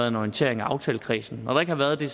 en orientering af aftalekredsen når der ikke har været det